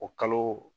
O kalo